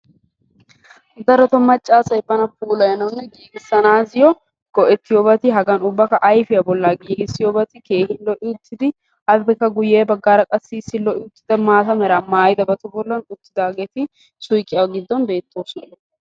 Darotoo macca asay bana puulayi bessanayoo go"ettiyoobati hagan qassikka ayfiyaa bollaa giigissiyobati keehi lo"i uttidi appekka guye baggaara issi maata meraa maayidabatun uttidagee suyqiyaa giddon beettoosona.